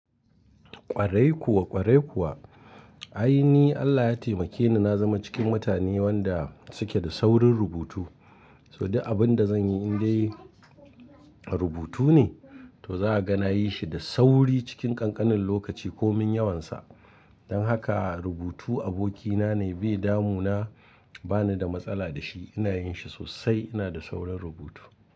Ƙwarai kuwa, ƙwarai kuwa. Ai ni Allah ya taimake ni na zama cikin mutane wanda suke da saurin rubutu. To dai abin da zan yi in dai rubutu ne, to za a ga na yi shi da sauri cikin ƙanƙanin lokaci ko min yawansa. Don haka rubutu abokina ne bai damu na, ba ni da matsala da shi. Ina yin shi sosai, ina da saurin rubutu.